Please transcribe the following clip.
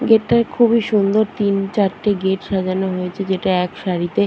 Gate টায় খুবই সুন্দর তিন চারটে গেট সাজানো হয়েছে যেটা এক সারিতে।